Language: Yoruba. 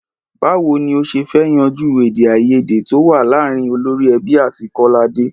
Báwo ni a ṣe fẹ́ yanjú èdè àìyédè tó wà láàárín olórí ẹbí àti Kọ́ládé?